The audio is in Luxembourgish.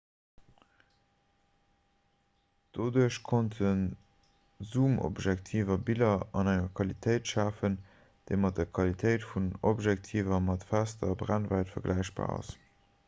doduerch konnte zoomobjektiver biller an enger qualitéit schafen déi mat der qualitéit vun objektiver mat fester brennwäit vergläichbar ass